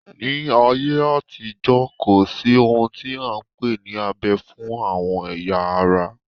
Ní ayé àtijó, kò sí ohun tí a n pè ní abẹ fún àwọn ẹ̀ya ara